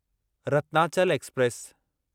Ratnachal express